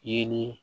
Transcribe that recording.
Yeli